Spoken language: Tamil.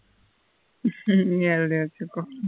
நீ எழுதி வெச்சிக்கோ